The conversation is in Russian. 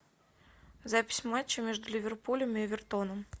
запись матча между ливерпулем и эвертоном